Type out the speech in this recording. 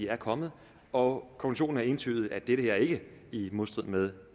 er kommet og konklusionen er entydigt at det her ikke er i modstrid med